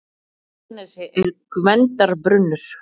Í Arnarnesi er Gvendarbrunnur.